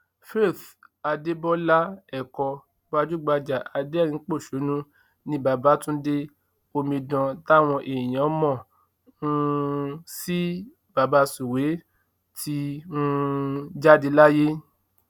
faith adébọlá ẹkọ gbajúgbajà aderinín pọṣónú nni baba tundé omidan táwọn èèyàn mọ um sí baba sụwe ti um jáde láyé